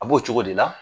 A b'o cogo de la